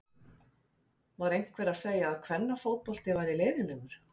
Var einhver að segja að kvennafótbolti væri leiðinlegur?